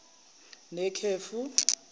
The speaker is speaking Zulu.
nekhefu